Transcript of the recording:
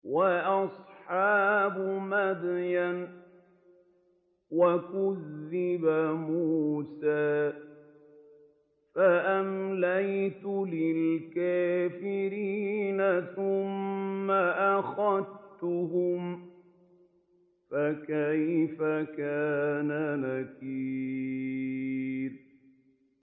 وَأَصْحَابُ مَدْيَنَ ۖ وَكُذِّبَ مُوسَىٰ فَأَمْلَيْتُ لِلْكَافِرِينَ ثُمَّ أَخَذْتُهُمْ ۖ فَكَيْفَ كَانَ نَكِيرِ